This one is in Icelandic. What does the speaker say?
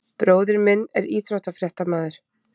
Bróðir minn er íþróttafréttamaður.